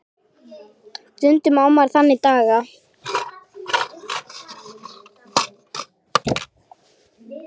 Stundum á maður þannig daga.